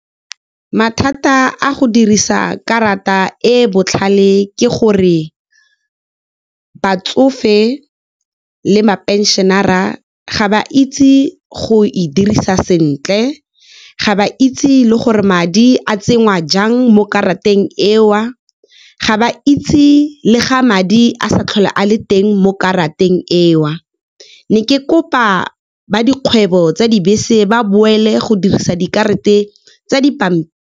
Mathata a go dirisa karata e botlhale ke gore batsofe le ma pension-ara ga ba itse go e dirisa sentle. Ga ba itse le gore madi a tsenngwa jang mo karateng eo, ga ba itse le ga madi a sa tlhole a le teng mo karateng eo, ne ke kopa ba dikgwebo tsa dibese ba boele go dirisa dikarata tsa di .